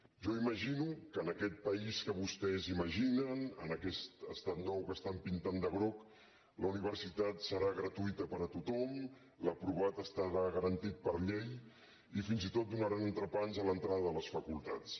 jo imagino que en aquest país que vostès imaginen en aquest estat nou que estan pintant de groc la universitat serà gratuïta per a tothom l’aprovat estarà garantit per llei i fins i tot donaran entrepans a l’entrada de les facultats